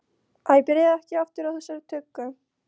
Æ, byrjaðu ekki aftur á þessari tuggu!